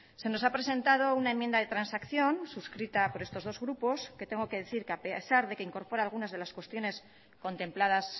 se nos ha presentado una enmienda de transacción suscrita por estos dos grupos que tengo que decir que a pesar de que incorpora algunas de las cuestiones contempladas